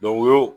o y'o